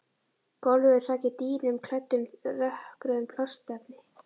Gólfið er þakið dýnum klæddum dökkrauðu plastefni.